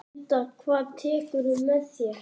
Linda: Hvað tekurðu með þér?